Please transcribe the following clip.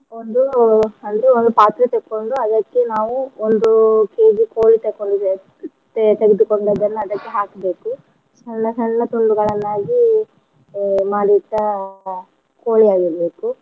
ಒಂದು ಅಂದ್ರೆ ಒಂದು ಪಾತ್ರೆ ತೆಕ್ಕೊಂಡು ಅದೆಕ್ಕೆ ನಾವು ಒಂದು KG ಕೋಳಿ ತಕೊಂಡಿರೋದ್ ತೇ~ ತೆಗೆದುಕೊಂಡದ್ದನ್ನ ಅದಕ್ಕೆ ಹಾಕ್ಬೇಕು ಸಣ್ಣ ಸಣ್ಣ ತುಂಡುಗಳನ್ನಾಗಿ ಅಹ್ ಮಾಡಿಟ್ಟ ಕೋಳಿಯಾಗಿರ್ಬೇಕು.